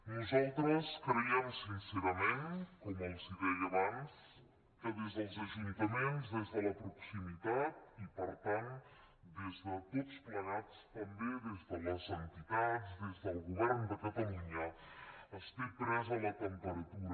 nosaltres creiem sincerament com els deia abans que des dels ajuntaments des de la proximitat i per tant des de tots plegats també des de les entitats des del govern de catalunya es té presa la temperatura